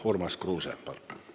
Urmas Kruuse, palun!